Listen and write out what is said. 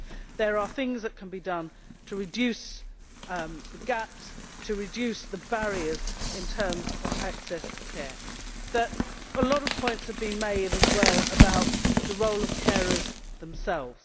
There are things that can be done to reduce the gaps, to reduce the barriers in terms of access to care. A lot of points have been made, as well, about the role of carers themselves.